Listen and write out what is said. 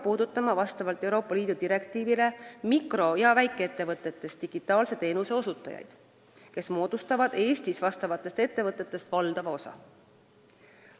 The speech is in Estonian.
– ei hakka see Euroopa Liidu direktiivi kohaselt puudutama digitaalseid teenuseid osutavaid mikro- ja väikeettevõtteid, mis moodustavad Eestis vastavatest ettevõtetest valdava osa.